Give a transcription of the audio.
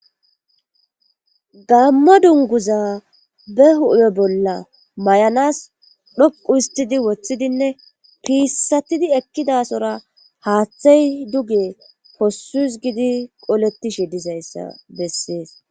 gammo dunguza be hupe bolla may7anas dhoqu histidi woththidinne piissatidi ekkidasora haaththey duge possus gidi qolettishe dizayssa bessees